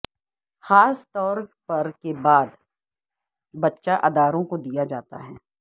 خاص طور پر کے بعد بچہ اداروں کو دیا جاتا ہے